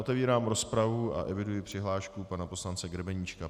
Otevírám rozpravu a eviduji přihlášku pana poslance Grebeníčka.